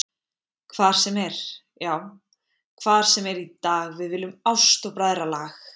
Hvar sem er, já hvar sem er í dag við viljum ást og bræðralag.